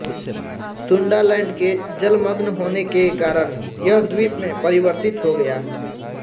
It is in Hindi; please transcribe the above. सुंडालैंड के जलमग्न होने के कारण यह द्वीप में परिवर्तित हो गया